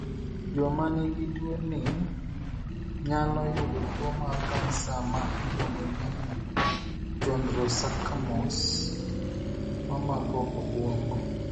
Joma ni gi tuo ni nyalo yudo tuo mar cancer ma iluongo ni chondrosarcomas ,mamako obuongo.